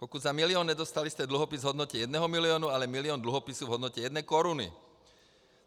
Pokud za milion, nedostali jste dluhopis v hodnotě jednoho milionu, ale milion dluhopisů v hodnotě jedné koruny.